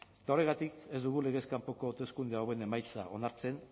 eta horregatik ez dugu legez kanpoko hauteskunde hauen emaitza onartzen